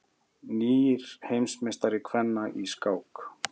Nýr heimsmeistari kvenna í skák